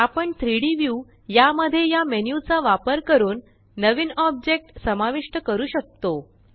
आपण 3Dव्यू या मध्ये या मेन्यु चा वापर करून नवीन ऑब्जेक्ट समाविष्ट करू शकतो